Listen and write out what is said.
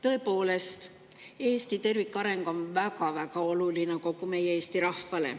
Tõepoolest, Eesti tervikareng on väga-väga oluline kogu meie Eesti rahvale.